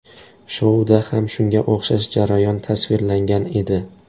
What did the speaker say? Shouda ham shunga o‘xshash jarayon tasvirlangan edi.